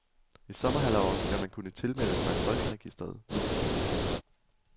I sommerhalvåret skal man kunne tilmelde sig folkeregisteret midlertidigt.